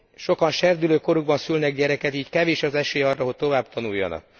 Sokan serdülőkorukban szülnek gyereket, így kevés az esély arra, hogy továbbtanuljanak.